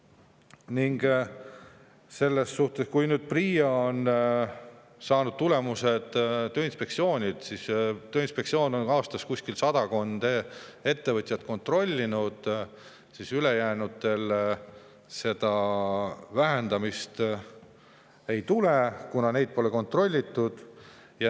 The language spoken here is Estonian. Veel selles suhtes, et PRIA on saanud tulemused Tööinspektsioonilt: Tööinspektsioon on aastas kontrollinud sadakonda ettevõtjat, ülejäänutel vähendamist ei tule, kuna neid pole kontrollitud.